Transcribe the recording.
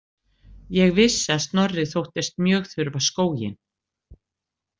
Ég vissi að Snorri þóttist mjög þurfa skóginn.